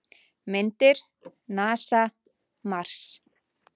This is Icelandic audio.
Myndir: NASA- Mars.